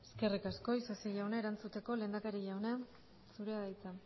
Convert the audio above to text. eskerrik asko isasi jauna erantzuteko lehendakari jauna zurea da hitza